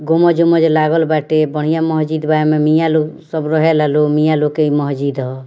गुम्बज उमबज लागल बाटे | बढ़िया मस्जिद बा | एमे मिया लोग सब रहे ला लोग मिया लोग के इ मस्जिद ह |